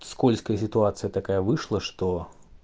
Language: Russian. скользкая ситуация такая вышла что